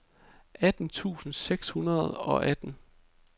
atten tusind seks hundrede og atten